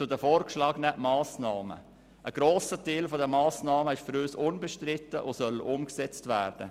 Zu den vorgeschlagenen Massnahmen: Ein grosser Teil der Massnahmen ist für uns unbestritten und soll umgesetzt werden.